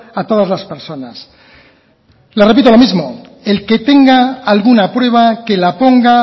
a todas las personas le repito lo mismo el que tenga alguna prueba que la ponga